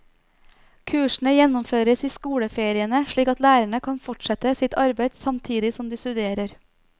Kursene gjennomføres i skoleferiene slik at lærerne kan fortsette sitt arbeid samtidig som de studerer.